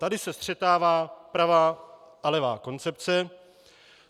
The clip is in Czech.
Tady se střetává pravá a levá koncepce.